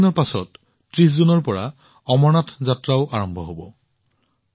চাৰি দিনৰ পিছত অমৰনাথ যাত্ৰাও ৩০ জুনৰ পৰা আৰম্ভ হব